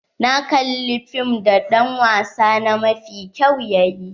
Na kalla wani fim da dan wasa na mafi kyau yayi.